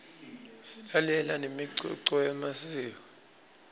silalela nemicuco yemasiko